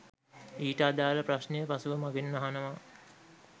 ඊට අදාල ප්‍රශ්නය පසුව මගෙන් අහනව